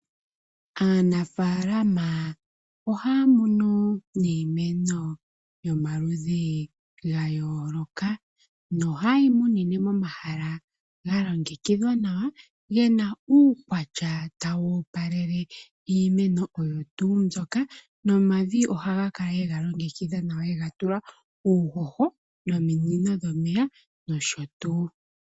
Aanafaalama ohaya munu iimeno yomaludhi ga yooloka, noha yeyi munine mo mahala ga longekidhwa nawa, gena uukwatya tawu opalele iimeno oyo tuu mbyoka, nomavi ohaga kala yega longekidha nawa yega tula uuhoho nominino dhomeya, nosho tuu.